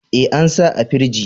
E, an sa a firji.